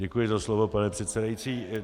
Děkuji za slovo, pane předsedající.